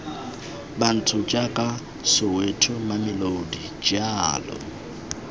bantsho jaaka soweto mamelodi jalo